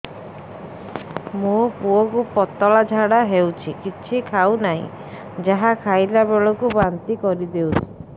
ମୋ ପୁଅ କୁ ପତଳା ଝାଡ଼ା ହେଉଛି କିଛି ଖାଉ ନାହିଁ ଯାହା ଖାଇଲାବେଳକୁ ବାନ୍ତି କରି ଦେଉଛି